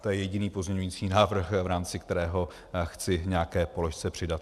To je jediný pozměňovací návrh, v rámci kterého chci nějaké položce přidat.